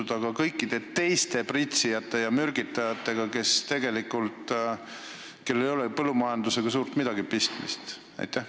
Mida aga teha kõikide teiste pritsijate ja mürgitajatega, kellel ei ole tegelikult põllumajandusega suurt midagi pistmist?